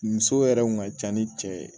Muso yɛrɛ kun ka ca ni cɛ ye